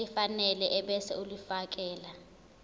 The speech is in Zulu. elifanele ebese ulifiakela